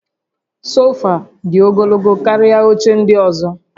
Sofa dị ogologo karịa oche ndị ọzọ